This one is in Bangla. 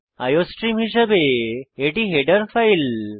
আইওস্ট্রিম হিসাবে এটি হেডার ফাইল